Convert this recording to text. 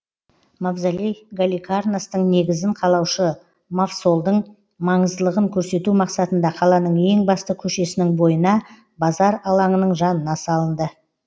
мавзолей галикарнастың негізін қалаушы мавсолдың маңыздылығын көрсету мақсатында қаланың ең басты көшесінің бойына базар алаңының жанына салынды